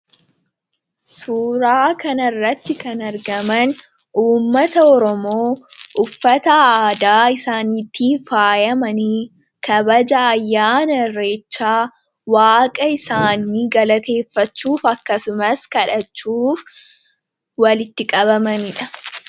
Suuraa kana irratti kan argaman, uummata Oromoo uffata aadaa isaaniitiin faayyamanii kabaja ayyaana irreechaa waaqa isaanii galateeffachuuf akkasumas kadhachuuf walitti qabamaniidha.